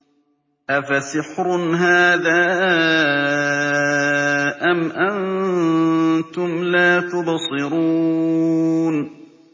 أَفَسِحْرٌ هَٰذَا أَمْ أَنتُمْ لَا تُبْصِرُونَ